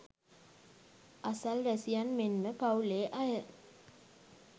අසල්වැසියන් මෙන්ම පවුලේ අය